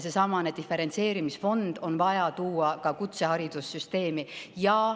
Seesamane diferentseerimisfond on vaja tuua ka kutseharidussüsteemi.